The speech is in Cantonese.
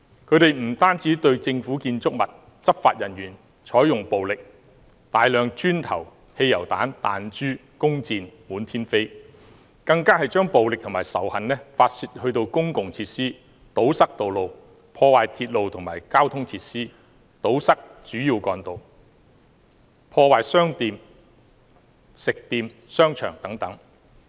他們不單對政府建築物和執法人員採用暴力，大量磚頭、汽油彈、彈珠和弓箭滿天飛，更將暴力和仇恨發泄在公共設施上，又堵塞道路，破壞鐵路和交通設施，堵塞主要幹道，破壞商店、食店、商場等。